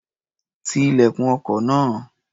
Ti ilẹ̀kùn ọkọ̀ náà.